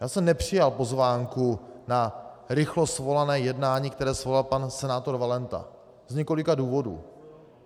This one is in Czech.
Já jsem nepřijal pozvánku na narychlo svolané jednání, které svolal pan senátor Valenta, z několika důvodů.